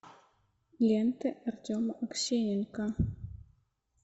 лента артема аксененко